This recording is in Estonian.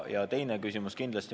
Ja teine küsimus.